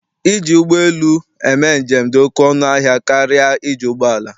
Iji ụgbọ lu eme njem dị ọkụ ọnụ ahịa karịa iji ụgbọala.